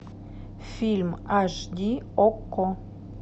фильм аш ди окко